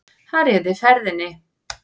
Hann réði ferðinni